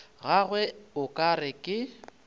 gagwe o ka re ke